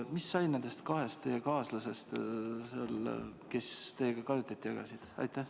Mis sai nendest kahest kaaslasest, kes teiega kajutit jagasid?